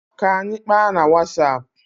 K'anyi kpaa na Wasap.